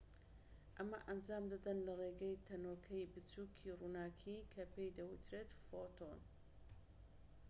ئەمە ئەنجام دەدەن لە ڕێگەی تەنۆکەی بچووکی ڕووناكی کە پێی دەوترێت فۆتۆن